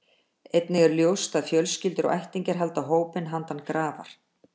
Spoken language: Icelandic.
Einnig er ljóst að fjölskyldur og ættingjar halda hópinn handan grafar.